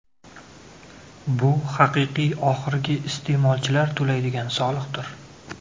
Bu haqiqiy oxirgi iste’molchilar to‘laydigan soliqdir.